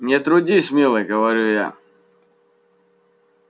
не трудись милый говорю я